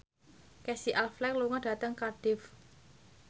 Casey Affleck lunga dhateng Cardiff